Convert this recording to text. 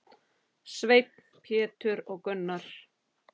Sveinn, Pétur og Gunnar.